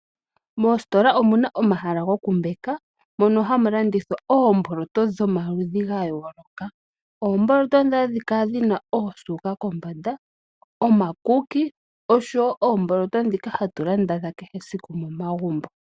Mositola omuna omahala gokumbaka mono hamu landithwa oomboloto dhomaludhi gayooloka oomboloto dhoka hadhi kala dhina oosuuka kombanda ,omakuki oshowo oomboloto dhika hatu Landa dha kehe esiku momagumbo.